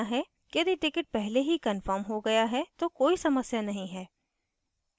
यदि ticket पहले ही कन्फर्म हो गया है तो कोई समस्या नहीं है